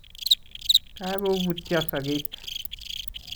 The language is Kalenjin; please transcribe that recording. Kagobutyo sogeek